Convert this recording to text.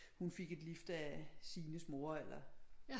Hun fik et lift af Signes mor eller